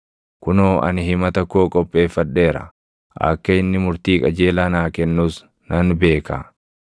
Kunoo ani himata koo qopheeffadheera; akka inni murtii qajeelaa naa kennus nan beeka.